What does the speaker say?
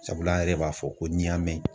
Sabula an yɛrɛ b'a fɔ ko ni y'a mɛn.